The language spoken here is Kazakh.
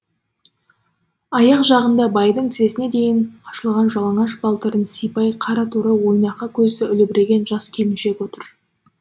аяқ жағында байдың тізесіне дейін ашылған жалаңаш балтырын сыйпай қара торы ойнақы көзді үлбіреген жас келіншек отыр